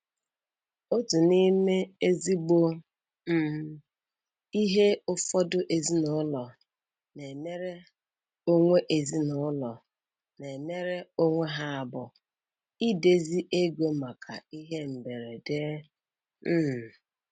Otu n'ime ezigbo um ihe ụfọdụ ezinụlọ na-emere onwe ezinụlọ na-emere onwe ha bụ idezi ego maka ihe mberede um